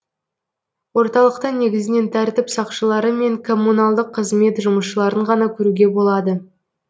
орталықта негізінен тәртіп сақшылары мен коммуналдық қызмет жұмысшыларын ғана көруге болады